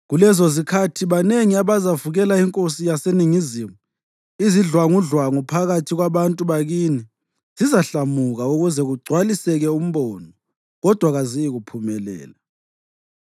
Kulezozikhathi banengi abazavukela inkosi yaseNingizimu. Izidlwangudlwangu phakathi kwabantu bakini zizahlamuka ukuze kugcwaliseke umbono, kodwa kaziyikuphumelela.